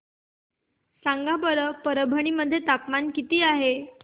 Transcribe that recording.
सांगा बरं परभणी मध्ये तापमान किती आहे